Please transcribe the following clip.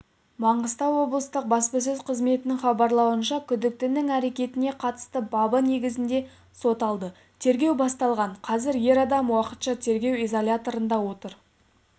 маңғыстау облыстық баспасөз қызметінің хабарлауынша күдіктінің әрекетіне қатысты бабы негізінде сот алды тергеу басталған қазір ер адам уақытша тергеу изоляторында отыр